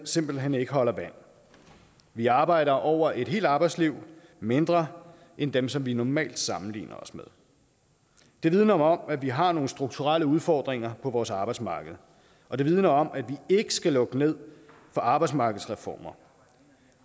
simpelt hen ikke holder vand vi arbejder over et helt arbejdsliv mindre end dem som vi normalt sammenligner os med det vidner jo om at vi har nogle strukturelle udfordringer på vores arbejdsmarked og det vidner om at vi ikke skal lukke ned for arbejdsmarkedsreformer